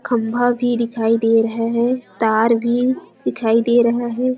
खम्भा भी दिखाई दे रहा है तार भी दिखाई दे रहे हैं।